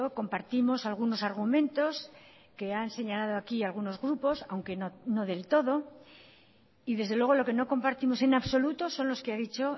compartimos algunos argumentos que han señalado aquí algunos grupos aunque no del todo y desde luego lo que no compartimos en absoluto son los que ha dicho